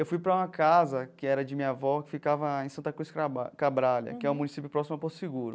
Eu fui para uma casa, que era de minha avó, que ficava em Santa Cruz Craba Cabrália, que é um município próximo a Porto Seguro.